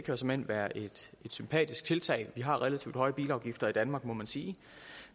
jo såmænd være et sympatisk tiltag vi har relativt høje bilafgifter i danmark må man sige